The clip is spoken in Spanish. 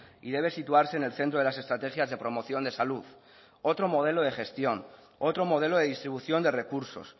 y debe situarse en el centro de las estrategias de promoción de salud otro modelo de gestión otro modelo de distribución de recursos